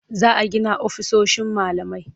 Za a gina ofisoshin malamai.